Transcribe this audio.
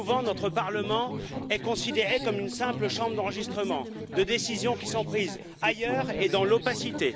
Trop souvent, notre Parlement est considéré comme une simple chambre d'enregistrement de décisions qui sont prises ailleurs et dans l'opacité.